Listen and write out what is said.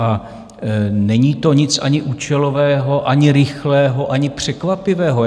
A není to nic ani účelového, ani rychlého, ani překvapivého.